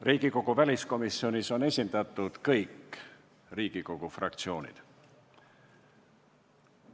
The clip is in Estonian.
Riigikogu väliskomisjonis on esindatud kõik Riigikogu fraktsioonid.